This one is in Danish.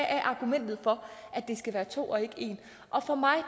er argumentet for at det skal være to og ikke en og for mig